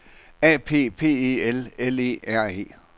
A P P E L L E R E